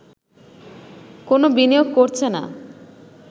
কোন বিনিয়োগ করছে না